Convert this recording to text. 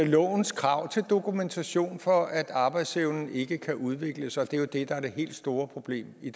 lovens krav til dokumentation for at arbejdsevnen ikke kan udvikles og det er jo det der er det helt store problem i